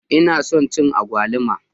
Ina son cin agwaluma.